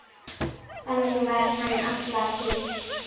Þannig var hann alla tíð.